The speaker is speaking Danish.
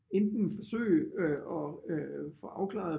Enten forsøge at få afklaret